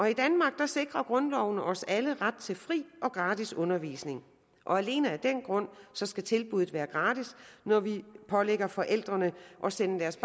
i danmark sikrer grundloven os alle ret til fri og gratis undervisning og alene af den grund skal tilbuddet være gratis når vi pålægger forældrene at sende deres